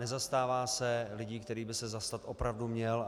Nezastává se lidí, kterých by se zastat opravdu měl.